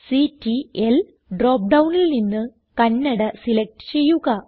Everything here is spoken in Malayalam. സിടിഎൽ ഡ്രോപ്പ് ഡൌണിൽ നിന്ന് കന്നഡ സിലക്റ്റ് ചെയ്യുക